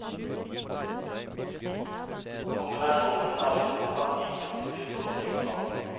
Kombinasjonen av de to kan gi plutselig blodtrykksfall.